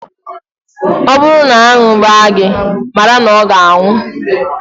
Ọ bụrụ na aṅụ gbaa gị, mara na ọ ga-anwụ